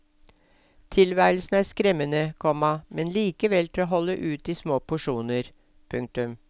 Tilværelsen er skremmende, komma men likevel til å holde ut i små porsjoner. punktum